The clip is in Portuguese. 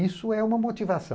Isso é uma motivação.